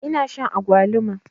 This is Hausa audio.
Ina shan agwaluma.